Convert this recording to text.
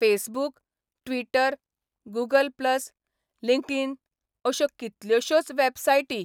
Facebook, Twitter, Google plus, LinkedIn अश्यो कितल्योशोच वॅबसायटी.